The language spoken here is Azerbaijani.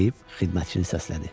Deyib xidmətçini səslədi.